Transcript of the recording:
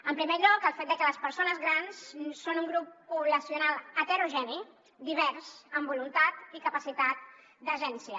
en primer lloc el fet de que les persones grans són un grup poblacional heterogeni divers amb voluntat i capacitat d’agència